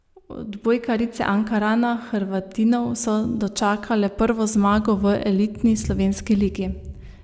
Odbojkarice Ankarana Hrvatinov so dočakale prvo zmago v elitni slovenski ligi.